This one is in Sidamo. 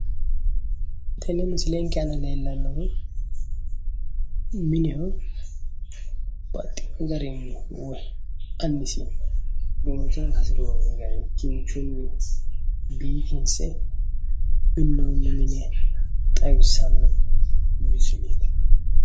Tenne misilenke aana leellannohu mineho. Baxxino garinni annisi loosa hasiriwo gari kinchunni biifinse minnoonni mine xawissanno misileeti.